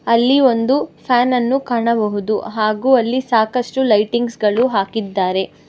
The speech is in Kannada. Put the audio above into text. ಅಲ್ಲಿ ಒಂದು ಫ್ಯಾನ್ ಅನ್ನು ಕಾಣಬಹುದು ಹಾಗೂ ಅಲ್ಲಿ ಸಾಕಷ್ಟು ಲೈಟಿಂಗ್ಸ್ ಗಳು ಹಾಕಿದ್ದಾರೆ.